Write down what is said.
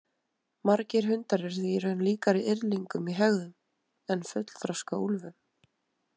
Margir hundar eru því í raun líkari yrðlingum í hegðun en fullþroska úlfum.